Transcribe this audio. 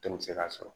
Den mi se k'a sɔrɔ